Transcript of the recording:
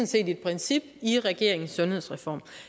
set et princip i regeringens sundhedsreform